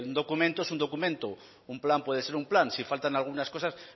decir un documento es un documento un plan puede ser un plan si faltan algunas cosas